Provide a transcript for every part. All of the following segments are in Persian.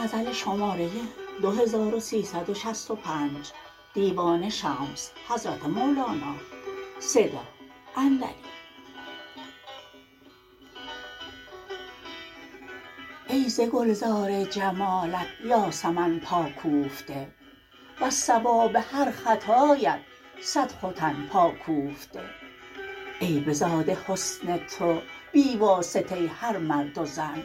ای ز گلزار جمالت یاسمن پا کوفته وز صواب هر خطایت صد ختن پا کوفته ای بزاده حسن تو بی واسطه هر مرد و زن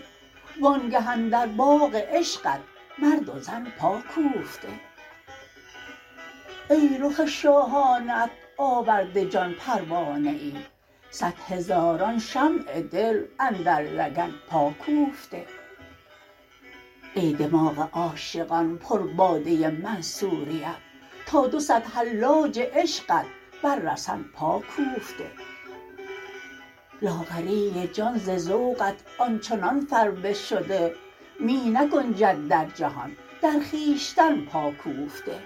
وآنگه اندر باغ عشقت مرد و زن پا کوفته ای رخ شاهانه ات آورده جان پروانه ای صد هزاران شمع دل اندر لگن پا کوفته ای دماغ عاشقان پرباده منصوریت تا دو صد حلاج عشقت بر رسن پا کوفته لاغری جان ز ذوقت آن چنان فربه شده می نگنجد در جهان در خویشتن پا کوفته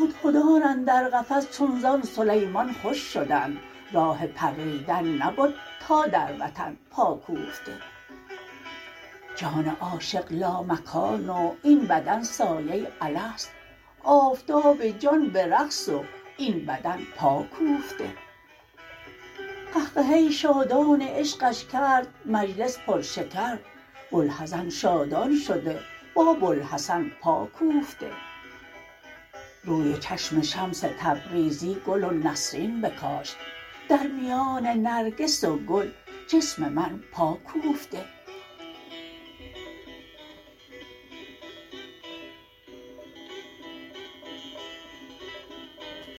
هدهدان اندر قفس چون زان سلیمان خوش شدند راه پریدن نبد تا در وطن پا کوفته جان عاشق لامکان و این بدن سایه الست آفتاب جان به رقص و این بدن پا کوفته قهقهه شادان عشقش کرد مجلس پرشکر بوالحزن شادان شده با بوالحسن پا کوفته روی و چشم شمس تبریزی گل و نسرین بکاشت در میان نرگس و گل جسم من پا کوفته